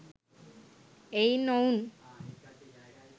එයින් ඔවුන්